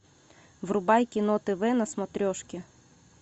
врубай кино тв на смотрешке